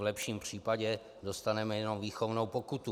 V lepším případě dostaneme jenom výchovnou pokutu.